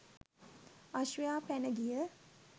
අශ්වයා පැන ගිය